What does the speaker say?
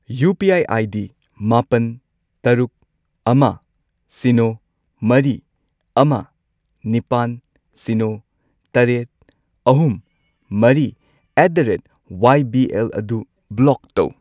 UPI. ID. ꯃꯥꯄꯟ, ꯇꯔꯨꯛ, ꯑꯃ, ꯁꯤꯅꯣ, ꯃꯔꯤ, ꯑꯃ, ꯅꯤꯄꯥꯟ , ꯁꯤꯅꯣ, ꯇꯔꯦꯠ, ꯑꯍꯨꯝ, ꯃꯔꯤ ꯑꯦꯠ ꯗ ꯔꯦꯠ ꯋꯥꯢꯕꯤꯑꯦꯜ ꯑꯗꯨ ꯕ꯭ꯂꯣꯛ ꯇꯧ꯫